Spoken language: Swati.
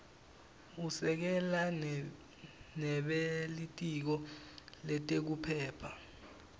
usekela nebelitiko letekuphepha